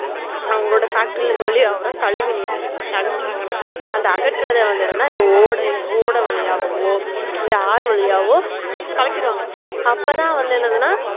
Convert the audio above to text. அவங்களோட factory ல இருந்து வெளிய ஆவுற கழிவு நீறு அகற்றாங்க அந்த அகற்ற ஓடையோ ஓடை வழியவோ இல்ல ஆறு வழியவோ கலக்கிருவாங்கஅப்பத்தான் என்னதுன